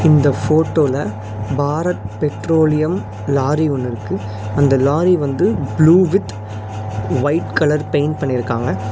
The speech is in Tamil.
இந்த போட்டோல பாரத் பெட்ரோலியம் லாரி ஒன்னு இருக்கு அந்த லாரி வந்து blue with white colour paint பண்ணிருக்காங்க.